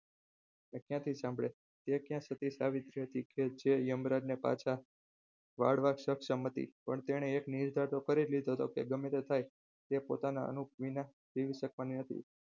તે ક્યાંથી સાંભળે તે ક્યાં સતી સાવિત્રી છે તે યમરાજ ને પાછા વાળવા સક્ષમ હતી પણ તેને એક નીડરતા તો કરેલી કે ગમે તે થાય તે પોતાના અનુપ વિના જીવી શકવાની નથી.